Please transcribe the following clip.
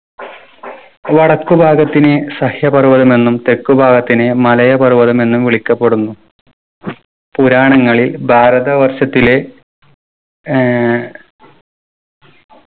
വടക്കു ഭാഗത്തിന് സഹ്യപർവ്വതമെന്നും തെക്കുഭാഗത്തിന് മലയ പർവ്വതമെന്നും വിളിക്കപ്പെടുന്നു. പുരാണങ്ങളിൽ ഭാരതവർഷത്തിലെ ഏർ